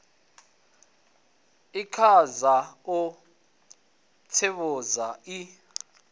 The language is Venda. i kaidza u tsivhudza i